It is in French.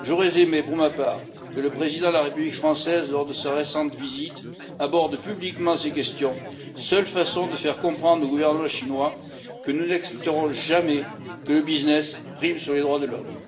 J'aurais aimé, pour ma part, que le président de la République française, lors de sa récente visite, aborde publiquement ces questions, seule façon de faire comprendre au gouvernement chinois que nous n'accepterons jamais que le business prime sur les droits de l'homme.